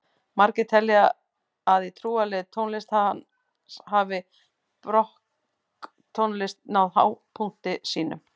Margir telja að í trúarlegri tónlist hans hafi barokktónlist náð hápunkti sínum.